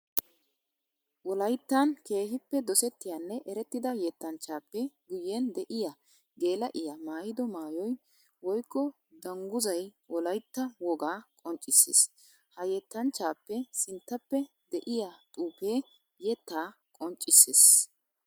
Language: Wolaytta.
Wolayttan keehippe dosettiyanne erettida yettanchchappe guyen de'iya geela'iya maayido maayoy woykko dungguzay wolaytta wogaa qonccisees. Ha yettanchchappe sinttappe de'iya xuufe yetta qonccisees.